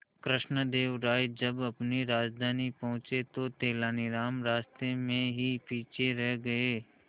कृष्णदेव राय जब अपनी राजधानी पहुंचे तो तेलानीराम रास्ते में ही पीछे रह गए